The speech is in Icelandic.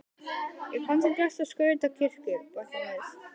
Ég kann því best að skreyta kirkjur, bætti hann við.